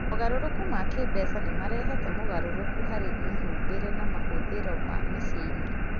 Mogarũrũku ma kĩĩmbeca nĩ marehete mogarũrũku harĩ mĩhumbĩre na mahũthĩri ma mĩciĩ-inĩ.